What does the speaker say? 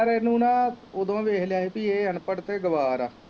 ਯਾਰ ਇਹਨੂੰ ਨਾ ਉਦੋਂ ਈ ਵੇਖ ਲਿਆ ਹੀ ਕ ਅਨਪੜ੍ਹ ਤੇ ਗਵਾਰ ਆ।